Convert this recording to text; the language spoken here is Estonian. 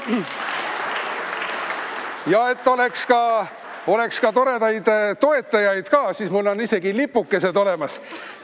Ja et oleks toredaid toetajaid ka, siis mul on isegi lipukesed olemas.